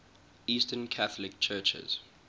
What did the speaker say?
eastern catholic churches